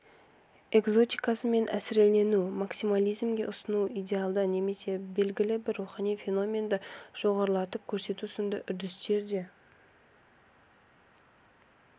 экзотикасымен әсірелену максимализмге ұрыну идеалды немесе белгілі бір рухани феноменді жоғарылатып көрсету сынды үрдістер де